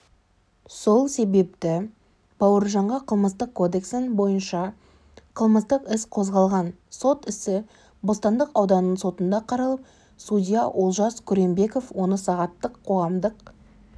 сол себепті бауыржанға қылмыстық кодексінің бойынша қылмыстық іс қозғалған сот ісі бостандық ауданының сотында қаралып судья олжас күренбеков оны сағаттық қоғамдық